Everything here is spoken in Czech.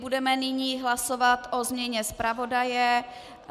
Budeme nyní hlasovat o změně zpravodaje.